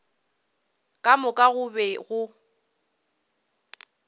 ka moka go be go